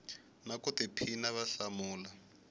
na ku tiphina va hlamula